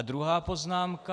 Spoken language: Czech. A druhá poznámka.